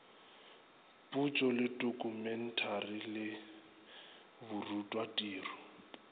potšo le tokumeteišene le borutwatiro